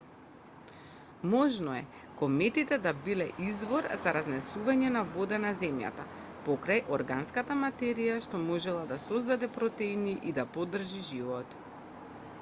можно е кометите да биле извор за разнесување на вода на земјата покрај органската материја што можела да создаде протеини и да поддржи живот